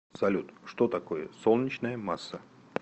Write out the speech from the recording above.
салют что такое солнечная масса